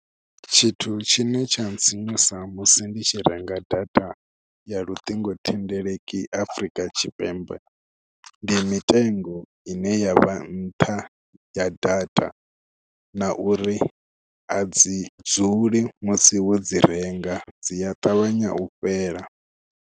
Tshithu tshine tsha ntsinyusa musi ndi tshi renga data ya luṱingothendeleki Afrika Tshipembe ndi mitengo ine ya vha nṱha ya data, na uri a dzi dzule musi wo dzi renga, dzi a ṱavhanya u fhela.